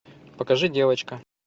покажи девочка